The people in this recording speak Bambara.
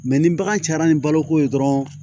ni bagan cayara ni baloko ye dɔrɔn